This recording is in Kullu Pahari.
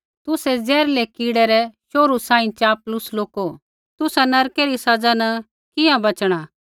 तुसै ज़हरीलै कीड़ै रै शोहरु सांही चापलूस लोको तुसा नरकै री सज़ा न किंहाँ बच़णा